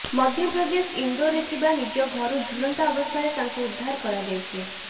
ମଧ୍ୟପ୍ରଦେଶ ଇନ୍ଦୋରରେ ଥିବା ନିଜ ଘରୁ ଝୁଲନ୍ତା ଅବସ୍ଥାରେ ତାଙ୍କୁ ଉଦ୍ଧାର କରାଯାଇଛି